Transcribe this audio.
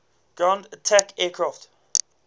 ground attack aircraft